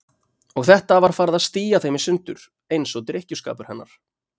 Og þetta var farið að stía þeim í sundur, eins og drykkjuskapur hennar.